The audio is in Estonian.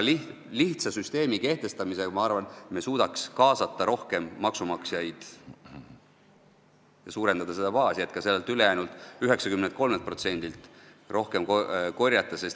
Lihtsa süsteemi kehtestamisel, ma arvan, me suudaks kaasata rohkem maksumaksjaid ja suurendada seda baasi, et ka sellelt ülejäänult 93%-lt rohkem maksu korjata.